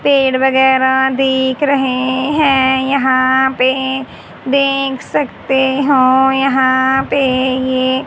पेड़ वगैरह दिख रहे हैं यहां पे देख सकते हो यहां पे ये--